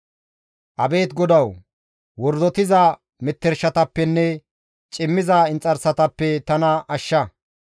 Abeet GODAWU! Wordotiza metershatappenne cimmiza inxarsatappe tana ashsha.